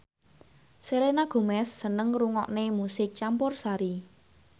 Selena Gomez seneng ngrungokne musik campursari